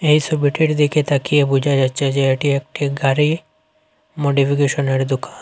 এই সবিটির দিকে তাকিয়ে বোঝা যাচ্ছে যে এটি একটি গাড়ি মডিফিকেশনের দোকান।